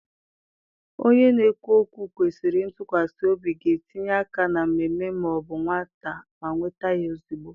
Onye na-ekwu okwu kwesịrị ntụkwasị obi ga-etinye aka na mmemme ma ọ bụ nweta ya ozugbo.